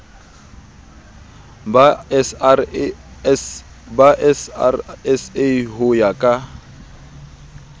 ba srsa ho ya ka